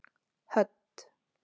Hödd